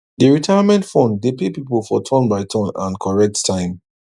d retirement fund dey pay people for turn by turn and correct time